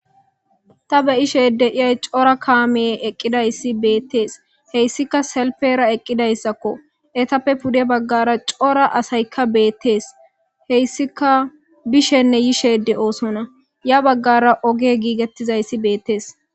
Ta beyashe dizaysi cora kamey eqidi dizaysi beetes haysika salpera eqidaysako heytape pude bagara cora asayka beetes heysika bishenne yishe de'odona ya bagara ogey gigetizaysi beetes